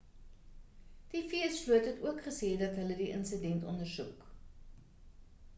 die vs vloot het ook gesê dat hulle die insident ondersoek